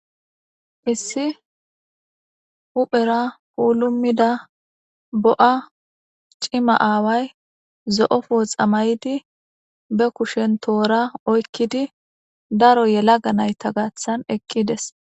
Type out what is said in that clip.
Issi huphera puulumida bo7a cima aaway zo7ofo xamaydi be kushen toora oykkidi daro yela ga nayta gaththan eqqides.